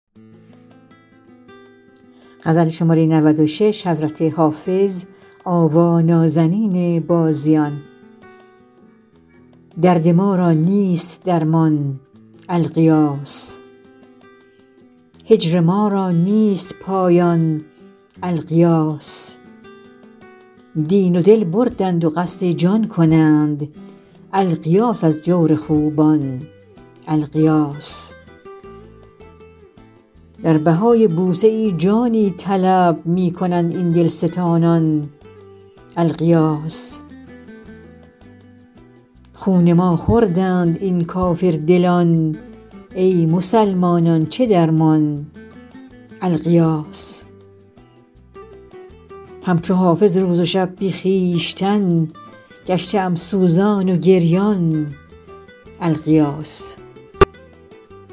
درد ما را نیست درمان الغیاث هجر ما را نیست پایان الغیاث دین و دل بردند و قصد جان کنند الغیاث از جور خوبان الغیاث در بهای بوسه ای جانی طلب می کنند این دلستانان الغیاث خون ما خوردند این کافردلان ای مسلمانان چه درمان الغیاث هم چو حافظ روز و شب بی خویشتن گشته ام سوزان و گریان الغیاث